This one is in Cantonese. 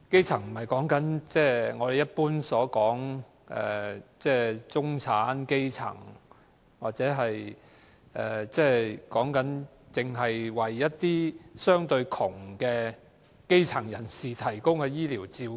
所謂"基層"，不是我們一般所指的"中產"、"基層"人士的基層，所以，基層醫療不是向相對窮困的基層人士提供的醫療照顧。